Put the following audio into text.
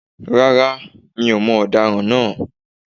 Rárá, mi ò mọ ọ̀daràn naa